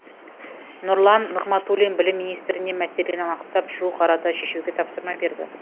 нұрлан нығматулин білім министріне мәселені анықтап жуық арада шешуге тапсырма берді